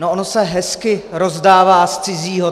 No ono se hezky rozdává z cizího.